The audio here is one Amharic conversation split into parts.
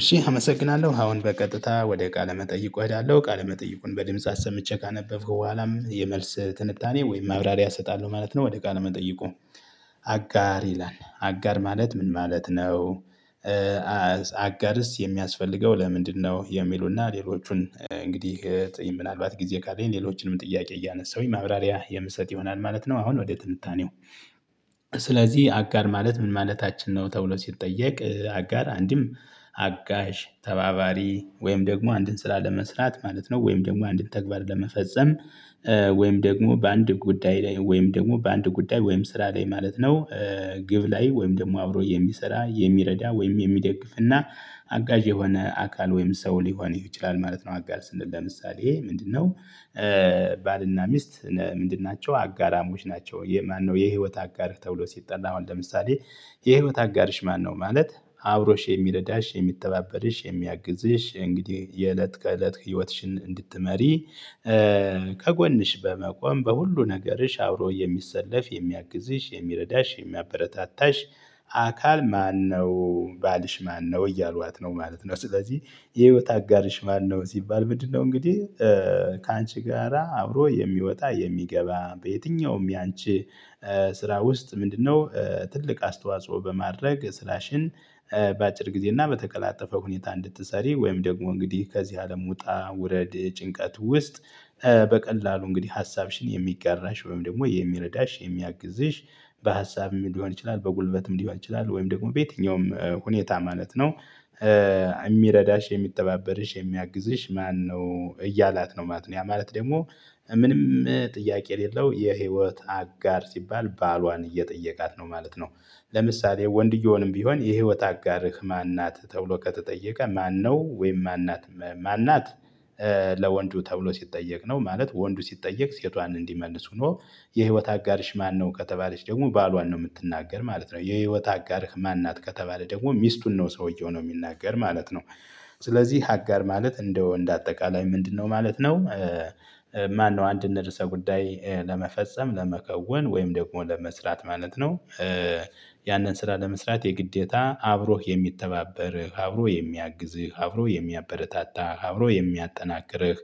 እሺ አመሰግናለሁ አሁን በቀጥታ ወደ ቃለ መጠይቁ እሄዳለሁ ቃለ መጠይቁን በድምጽ አሰምቼ ካነበብኩ በኋላም የመልስ ትንታኔ ወይም ማብራሪያ እሰጣለሁ። ማለት ነው ወደ ቃል መጠይቁ አጋር ይላል አጋር ማለት ምን ማለት ነው? አጋርስ የሚያስፈልገው ለምንድነው የሚሉና ሌሎቹን እንግዲህ ምናልባት ጊዜ ካለኝ ሌሎችንም ጥያቄ እያነሳሁኝ ማብራሪያ የምሰጥ ይሆናል ማለት ነው። አሁን ወደ ትንታኔው። ስለዚህ አጋር ማለት ምን ማለታችን ነው? ተብሎ ሲጠየቅ አጋር አንድም አጋዥ ተባባሪ ወይም ደግሞ አንድን ስራ ለመስራት ማለት ነው። ወይም ደግሞ አንድን ተግባር ለመፈጸም። ወይም ደግሞ በአንድ ጉዳይ ላይ ወይም ደግሞ በአንድ ጉዳይ ወይም ስራ ላይ ማለት ነው። ግብ ላይ ወይም ደግሞ አብሮ የሚሰራ የሚረዳ ወይም የሚደግፍና አጋዥ የሆነ አካል ወይም ሰው ሊሆን ይችላል ማለት ነው። አጋር ስንል ለምሳሌ ምንድነው? ባልና ሚስት ምንድን ናቸው አጋራሞች ናቸው። የማነው የህይወት አጋር ተብሎ ሲጠላ ነው። ለምሳሌ የህይወት አጋርሽ ማነው? ማለት አብሮሽ የሚረዳሽ የሚተባበርሽ የሚያግዝሽ እንግዲህ የእለት ከእለት ህይወትሽን እንድትመሪ። ከጎንሽ በመቆም በሁሉ ነገርሽ አብሮ የሚሰለፍ የሚያግዝሽ የሚረዳሽ የሚያበረታታሽ አካል ማነው ባልሽ ማነው እያሏት ነው ማለት ነው። ስለዚህ የህይወት አጋርሽ ማነው ሲባል ምንድነው? እንግዲህ ካንቺ ጋራ አብሮ የሚወጣ የሚገባ በየትኛውም ያንቺ ስራ ውስጥ ምንድነው? ትልቅ አስተዋጽኦ በማድረግ ስራሽን በአጭር ጊዜ እና በተቀላጠፈ ሁኔታ እንድትሰሪ ወይም ደግሞ እንግዲህ ከዚህ አለም ውጣ ውረድ ጭንቀት ውስጥ። በቀላሉ እንግዲህ ሀሳብሽን የሚጋራሽ ወይም ደግሞ የሚረዳሽ የሚያግዝሽ በሀሳብም ሊሆን ይችላል በጉልበትም ሊሆን ይችላል ወይም ደግሞ በየትኛውም ሁኔታ ማለት ነው። የሚረዳሽ የሚተባበርሽ የሚያግዝሽ ማነው እያላት ነው ማለት ነው። ያ ማለት ደግሞ ምንም ጥያቄ የሌለው የህይወት አጋር ሲባል ባሏን እየጠየቃት ነው ማለት ነው። ለምሳሌ ወንድየውንም ቢሆን የህይወት አጋርህ ማን ናት? ተብሎ ከተጠየቀ ማነው ወይም ማን ናት? ማን ናት? ለወንዱ ተብሎ ሲጠየቅ ነው ማለት ወንዱ ሲጠየቅ ሴቷን እንዲመልሱ ነው። የህይወት አጋርሽ ማነው ከተባለች ደግሞ ባሏን ነው የምትናገር ማለት ነው። የህይወት አጋርህ ማን ናት ከተባለ ደግሞ ሚስቱን ነው ሰውየው ነው የሚናገር ማለት ነው። ስለዚህ አጋር ማለት እንደው እንደ አጠቃላይ ምንድነው? ማለት ነው። ማነው አንድን ርዕሰ ጉዳይ ለመፈጸም ለመከውን ወይም ደግሞ ለመስራት ማለት ነው። ያንን ስራ ለመስራት የግዴታ አብሮህ የሚተባበርህ አብሮ የሚያግዝህ አብሮ የሚያበረታታህ አብሮ የሚያጠናክርህ።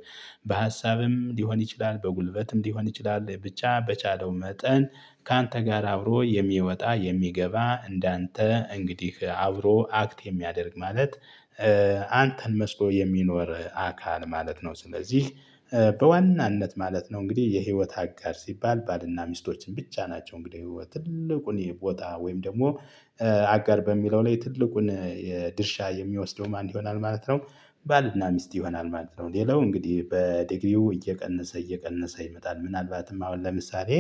በሀሳብም ሊሆን ይችላል በጉልበትም ሊሆን ይችላል ብቻ በቻለው መጠን። ካንተ ጋር አብሮ የሚወጣ የሚገባ እንዳንተ እንግዲህ አብሮ አክት የሚያደርግ ማለት አንተን መስሎ የሚኖር አካል ማለት ነው። ስለዚህ በዋናነት ማለት ነው እንግዲህ የህይወት አጋር ሲባል ባልና ሚስቶችን ብቻ ናቸው። እንግዲህ ትልቁን የቦታ ወይም ደግሞ አጋር በሚለው ላይ ትልቁን የድርሻ የሚወስደው ማን ይሆናል ማለት ነው። ባልና ሚስት ይሆናል ማለት ነው። ሌላው እንግዲህ በድግሪው እየቀነሰ እየቀነሰ ይመጣል ምናልባትም አሁን ለምሳሌ።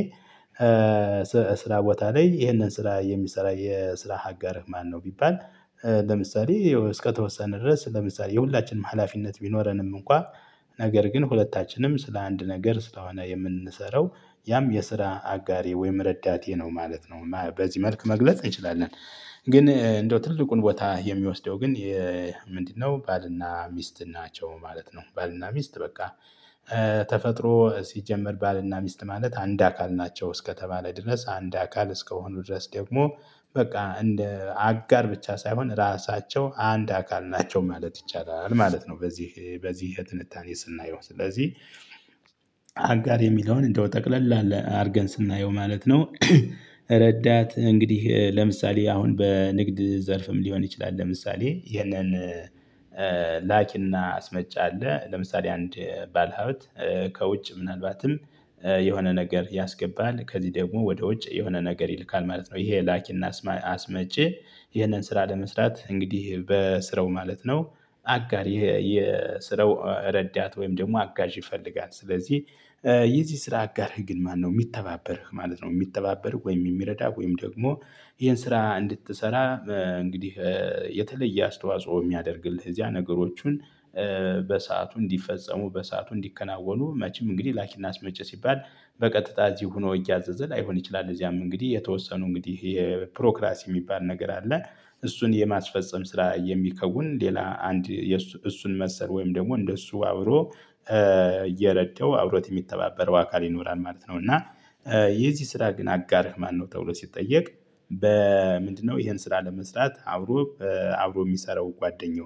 ስራ ቦታ ላይ ይሄንን ስራ የሚሰራ የስራ ሀገርህ ማነው? ቢባል ለምሳሌ እስከተወሰነ ድረስ ለምሳሌ የሁላችንም ሀላፊነት ቢኖረንም እንኳን ነገር ግን ሁለታችንም ስለ አንድ ነገር ስለሆነ የምንሰራው ያም የስራ አጋሬ ወይም ረዳቴ ነው ማለት ነው። በዚህ መልክ መግለጽ እንችላለን። ግን እንደው ትልቁን ቦታ የሚወስደው ግን። ምንድነው? ባልና ሚስት ናቸው ማለት ነው። ባልና ሚስት በቃ። ተፈጥሮ ሲጀመር ባልና ሚስት ማለት አንድ አካል ናቸው እስከተባለ ድረስ አንድ አካል እስከሆኑ ድረስ ደግሞ በቃ እንደ አጋር ብቻ ሳይሆን ራሳቸው አንድ አካል ናቸው ማለት ይቻላል ማለት ነው። በዚህ በዚህ ትንታኔ ስናየው ስለዚህ አጋር የሚለውን እንደው ጠቅለል አርገን ስናየው ማለት ነው። ረዳት እንግዲህ ለምሳሌ አሁን በንግድ ዘርፍም ሊሆን ይችላል። ለምሳሌ ይህንን እና አስመጫ አለ ለምሳሌ አንድ ባለሀብት ከውጭ ምናልባትም የሆነ ነገር ያስገባል ከዚህ ደግሞ ወደ ውጭ የሆነ ነገር ይልካል ማለት ነው። ይሄ ላኪና አስመጪ ይሄንን ስራ ለመስራት እንግዲህ በስራው ማለት ነው። አጋር የስራው ረዳት ወይም ደግሞ አጋዥ ይፈልጋል። ስለዚህ የዚህ ስራ አጋርህ ግን ማነው የሚተባበርህ ማለት ነው። የሚተባበርህ ወይም የሚረዳ ወይም ደግሞ ይሄን ስራ እንድትሰራ። እንግዲህ የተለየ አስተዋጽኦ የሚያደርግልህ እዚያ ነገሮቹን በሰአቱ እንዲፈጸሙ በሰአቱ እንዲከናወኑ መቼም እንግዲህ ላኪና አስመጪ ሲባል በቀጥታ እዚህ ሆኖ እያዘዘ ላይሆን ይችላል። እዚያም እንግዲህ የተወሰኑ እንግዲህ ይሄ ፕሮክራሲ የሚባል ነገር አለ። እሱን የማስፈጸም ስራ የሚከውን ሌላ አንድ እሱን መሰል ወይም ደግሞ እንደሱ አብሮ እየረዳው አብሮት የሚተባበረው አካል ይኖራል ማለት ነው። እና የዚህ ስራ ግን አጋርህ ማነው ተብሎ ሲጠየቅ። በምንድነው ይሄን ስራ ለመስራት አብሮ አብሮ የሚሰራው ጓደኛው